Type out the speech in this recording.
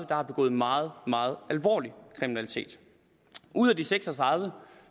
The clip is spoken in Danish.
der har begået meget meget alvorlig kriminalitet ud af de seks og tredive